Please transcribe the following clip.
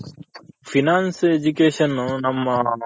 Finance Education ನಮ್ಮ